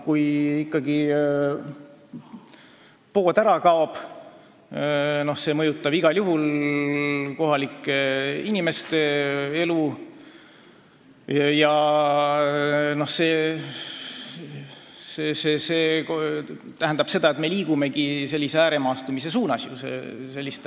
Kui ikka pood ära kaob, siis see mõjutab igal juhul kohalike inimeste elu ja see tähendab seda, et me liigume ääremaastumise suunas.